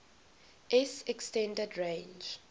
s extended range